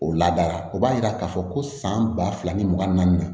O ladara o b'a yira k'a fɔ ko san ba fila ni mugan naani na